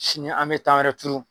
Sini an be tan wɛrɛ turu.